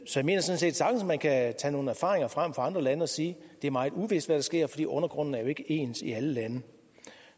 sådan set sagtens man kan tage nogle erfaringer fra andre lande og sige at det er meget uvist hvad der sker fordi undergrunden jo ikke er ens i alle lande